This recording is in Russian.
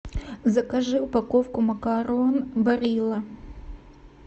закажи упаковку макарон барилла